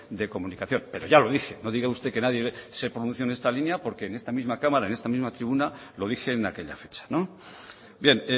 de comunicación pero ya lo dije no diga usted que nadie se pronunció en esta línea porque en esta misma cámara en esta misma tribuna lo dije en aquella fecha bien